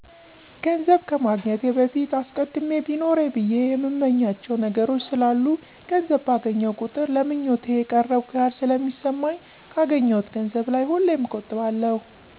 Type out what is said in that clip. ገንዘብ ከማግኘቴ በፊት አስቀድሜ ቢኖረኝ ብየ የእምመኛቸዉ ነገሮች ስላሉ ገንዘብ ባገኘሁ ቁጥር ለ ምኞቴ የቀረብኩ ያክል ስለሚሰማኝ ካገኘሁት ገንዘብ ላይ ሁሌም እቆጥባለሁ።